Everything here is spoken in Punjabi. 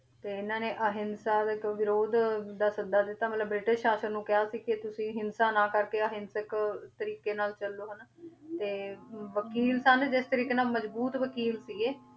ਤੇ ਇਹਨਾਂ ਨੇ ਅਹਿੰਸਾ ਦਾ ਇੱਕ ਵਿਰੋਧ ਦਾ ਸੱਦਾ ਦਿੱਤਾ ਮਤਲਬ ਬ੍ਰਿਟਿਸ਼ ਸਾਸਨ ਨੂੰ ਕਿਹਾ ਸੀ ਕਿ ਤੁਸੀਂ ਹਿੰਸਾ ਨਾ ਕਰਕੇ ਅਹਿੰਸਕ ਤਰੀਕੇ ਨਾਲ ਚੱਲੋ ਹਨਾ ਤੇ ਵਕੀਲ ਸਨ ਜਿਸ ਤਰੀਕੇ ਨਾਲ ਮਜ਼ਬੂਤ ਵਕੀਲ ਸੀ ਇਹ,